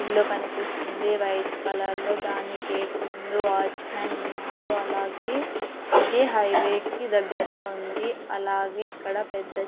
ఇల్లు కనిపిస్తుంది white colour లో దాని గేట్ ముందు వాచ్మాన్ ఉన్నాడు అలాగే ఇది హైవే కి దగ్గరలో ఉంది అలాగే ఇక్కడ పెద్ద--